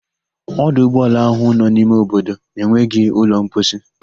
Ọdụ ụgbọala ahụ nọ n'ime obodo enweghị ụlọ mposi.